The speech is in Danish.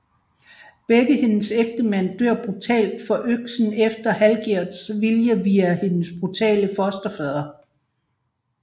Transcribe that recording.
Begge hendes ægtemænd dør brutalt for øksen efter Hallgjerds vilje via hendes brutale fosterfader